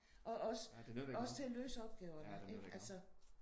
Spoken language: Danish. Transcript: Ja det nytter ikke noget. Ja det nytter ikke noget